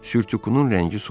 Sürtükün rəngi solub.